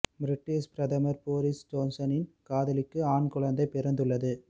British பிரதமர் Boris ஜோன்சனின் காதலிக்கு ஆண் குழந்தை பிறந்துள்ளது